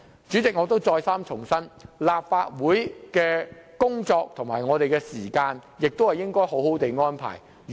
主席，我再三重申，立法會的工作和時間應當妥善安排。